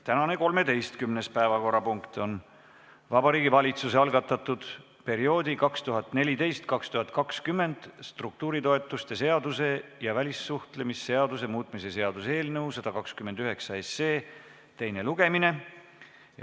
Tänane 13. päevakorrapunkt on Vabariigi Valitsuse algatatud perioodi 2014–2020 struktuuritoetuse seaduse ja välissuhtlemisseaduse muutmise seaduse eelnõu 129 teine lugemine.